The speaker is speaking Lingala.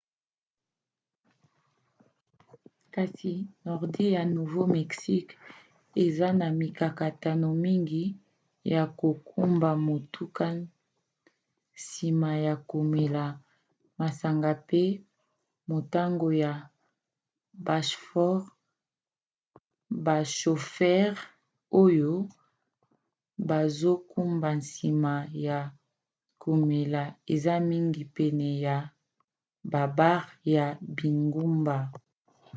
kasi nordi ya nouveau-mexique eza na mikakatano mingi ya kokumba motuka nsima ya komela masanga pe motango ya bashofere oyo bazokumba nsima ya komela eza mingi pene ya babare ya bingumba